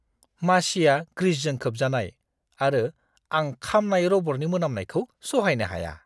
मासिआ ग्रिसजों खोबजानाय आरो आं खामनाय रबरनि मोनामनायखौ सहायनो हाया।